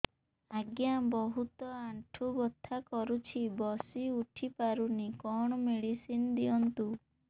ଆଜ୍ଞା ବହୁତ ଆଣ୍ଠୁ ବଥା କରୁଛି ବସି ଉଠି ପାରୁନି କଣ ମେଡ଼ିସିନ ଦିଅନ୍ତୁ